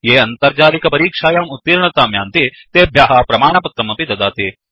ये अन्तर्जालिकपरीक्षायाम् उतीर्णतां यान्ति तेभ्यः प्रमाणपत्रमपि ददाति